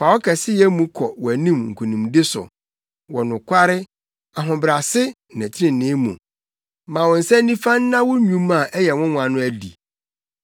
Fa wo kɛseyɛ mu kɔ wʼanim nkonimdi so wɔ nokware, ahobrɛase ne trenee mu; ma wo nsa nifa nna wo nnwuma a ɛyɛ nwonwa no adi.